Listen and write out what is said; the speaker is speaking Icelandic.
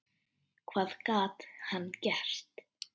Hvað gat hann gert?